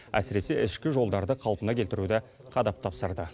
әсіресе ішкі жолдарды қалпына келтіруді қадап тапсырды